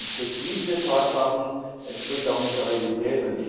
Das entspricht nicht den Tatsachen, es entspricht auch nicht der Realität.